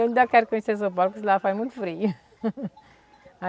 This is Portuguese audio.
Eu ainda quero conhecer São Paulo, porque lá faz muito frio.